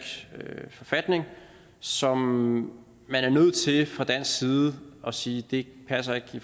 forfatning som man er nødt til fra dansk side at sige ikke passer i